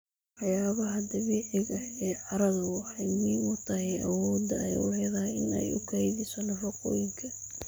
Waxyaabaha dabiiciga ah ee carradu waxay muhiim u tahay awoodda ay u leedahay in ay ku kaydiso nafaqooyinka.